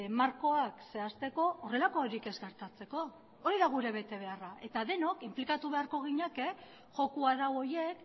markoak zehazteko horrelakorik ez gertatzeko hori da gure betebeharra eta denok inplikatu behariko ginateke joko arau horiek